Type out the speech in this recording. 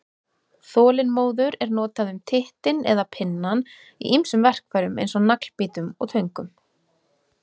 Þolinmóður er notað um tittinn eða pinnann í ýmsum verkfærum eins og naglbítum og töngum.